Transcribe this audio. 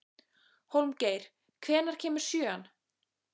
Hólmgeir, hvenær kemur sjöan?